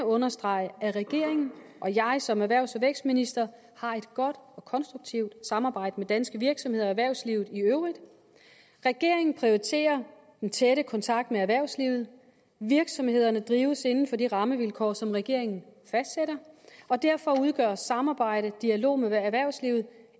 understrege at regeringen og jeg som erhvervs og vækstminister har et godt og konstruktivt samarbejde med danske virksomheder og erhvervslivet i øvrigt regeringen prioriterer den tætte kontakt med erhvervslivet virksomhederne drives inden for de rammevilkår som regeringen fastsætter og derfor udgør samarbejde og dialog med erhvervslivet